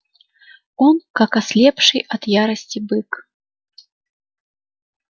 он как ослепший от ярости бык